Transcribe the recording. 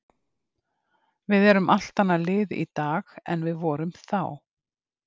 Við erum allt annað lið í dag en við vorum þá.